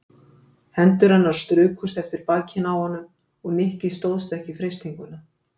Hendur hennar strukust eftir bakinu á honum og Nikki stóðst ekki freistinguna.